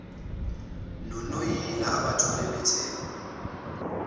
nonoyila obathola bethe